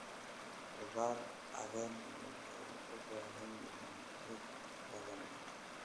Khudaar caleen waxay u baahan yihiin ciid hodan ah.